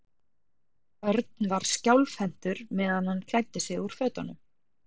Örn var skjálfhentur meðan hann klæddi sig úr fötunum.